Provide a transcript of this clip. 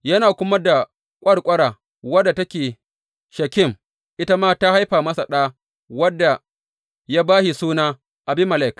Yana kuma da ƙwarƙwara wadda take Shekem, ita ma ta haifa masa ɗa wanda ya ba shi suna Abimelek.